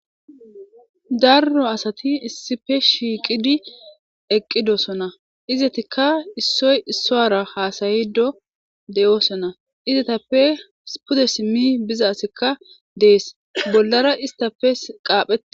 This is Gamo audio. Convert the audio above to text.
darro asati issippe shiiqidi eqqido sona izatikka issoy issoara haasayido deyosona izatappe pude simmi biza asekka dees bollara istappe qaaphee